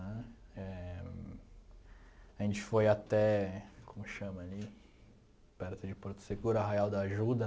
Né eh a gente foi até, como chama ali, perto de Porto Seguro, Arraial da Ajuda.